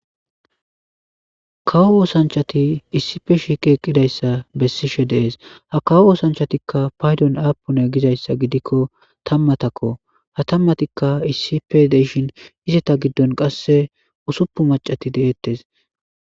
Kawo oththanchchati issipe shiqqi eqqidayssa besishe de7es ha kawo oththanchatika paydon appuna gizayssa giddikko tammatako ha tammatika issippe de7ishin izzetta giddon qasse ussupuni maaccati de7ettes